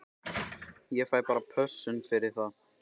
Ég fæ bara pössun fyrir það.